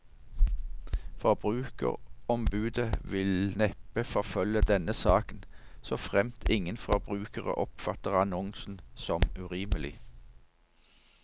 Forbrukerombudet vil neppe forfølge denne saken, så fremt ingen forbrukere oppfatter annonsen som urimelig.